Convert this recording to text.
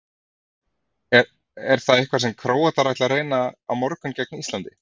Er það eitthvað sem Króatar ætla að reyna á morgun gegn Íslandi?